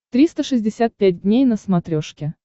триста шестьдесят пять дней на смотрешке